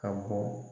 Ka bɔ